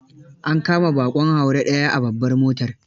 An kama ɓaƙon haure ɗaya a babbar motar.